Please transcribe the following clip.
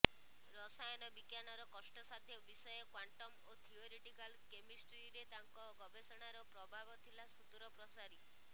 ରସାୟନ ବିଜ୍ଞାନର କଷ୍ଟସାଧ୍ୟ ବିଷୟ କ୍ୱାଣ୍ଟମ୍ ଓ ଥିଓରିଟିକାଲ୍ କେମିଷ୍ଟ୍ରିରେ ତାଙ୍କ ଗବେଷଣାର ପ୍ରଭାବ ଥିଲା ସୁଦୂରପ୍ରସାରୀ